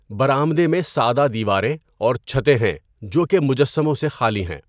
برآمدے میں سادہ دیواریں اور چھتیں ہیں جو کہ مجسموں سے خالی ہیں۔